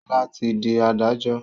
Ṣọlá ti di adájọ́